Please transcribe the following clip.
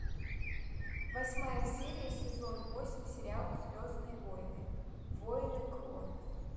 восьмая серия сезон восемь сериал звездные войны войны клонов